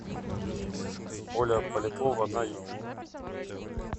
оля полякова на ютюб